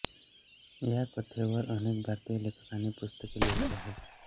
या कथेवर अनेक भारतीय लेखकांनी पुस्तके लिहिली आहेत